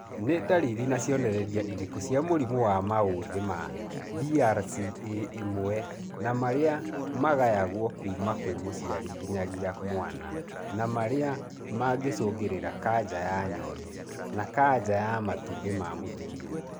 Nĩ ndariri na cionereria irĩkũ cia mũrimũ wa maũthĩ ma BRCA1 na marĩa magayagwo kuma kwĩ mũciari nginyagia mwana na marĩa mangĩcũngĩrĩria kanja ya nyondo na kanja ya matumbĩ ma mũtumia